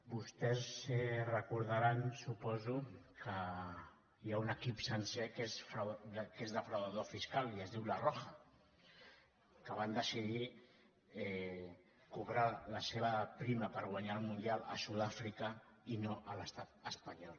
vostès recordaran suposo que hi ha un equip sencer que és defraudador fiscal i es diu la roja que van decidir cobrar la seva prima per guanyar el mundial a sud àfrica i no a l’estat espanyol